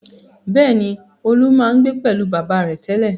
Bẹ́ẹ̀ni, Olú máa ń gbé pẹ̀lú bàbá rẹ̀ tẹ́lẹ̀.